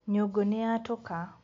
Nyũngũ nĩyatũka.